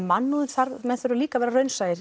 mannúðin við þurfum líka að vera raunsæ